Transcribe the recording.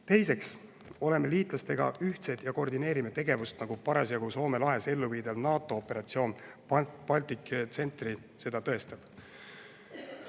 Teiseks oleme liitlastega ühtsed ja koordineerime tegevust, nagu parasjagu Soome lahes elluviidav NATO operatsioon Baltic Sentry seda tõestab.